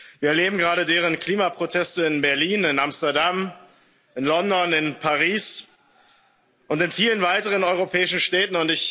Wir erleben gerade deren Klimaproteste in Berlin, in Amsterdam, in London, in Paris und in vielen weiteren europäischen Städten.